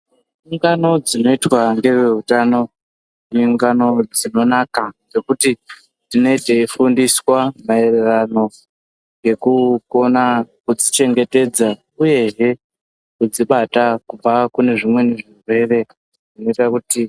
Ungano dzinoitwa ngeveutano iungano dzinonaka dzekuti tine teifundiswa maererano ngekukona kudzichengetedza uyehe kudzibata kubva kune zvimweni zvirwere zvinoita kuti.